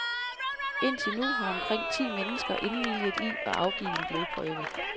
Indtil nu har omkring ti mennesker indvilget i at afgive en blodprøve.